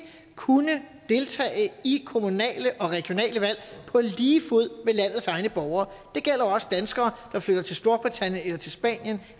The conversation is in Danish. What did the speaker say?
kunne deltage i kommunale og regionale valg på lige fod med landets egne borgere det gælder også danskere der flytter til storbritannien eller til spanien